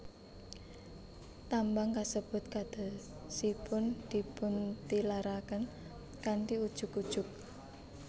Tambang kasebut kadosipun dipuntilaraken kanthi ujug ujug